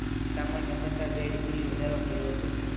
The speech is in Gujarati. સામાન્ય કરતાં બે ડિગ્રી વધારે હતું